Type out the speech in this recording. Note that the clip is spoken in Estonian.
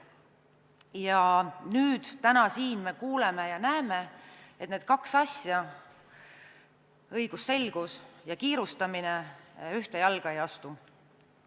Ja nüüd, täna me kuuleme ja näeme, et need kaks asja – õigusselgus ja kiirustamine – ühte jalga ei astu.